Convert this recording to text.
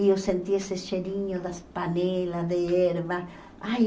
E eu senti esse cheirinho das panelas de ervas. Ai